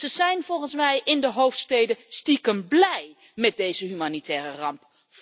Ze zijn volgens mij in de hoofdsteden stiekem blij met deze humanitaire ramp.